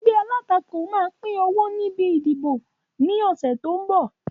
Ẹgbẹ́ alátakò máa pín owó níbi ìdìbò ni ọ̀sẹ̀ tó ń bọ̀